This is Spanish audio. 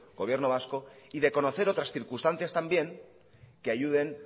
gobierno vasco y de conocer otras circunstancias también que ayuden